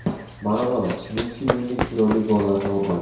Maradona: Messi mendek chiroyli gollarni urmagan.